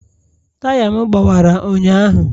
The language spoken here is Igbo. Taya m gbawara ụnyahụ.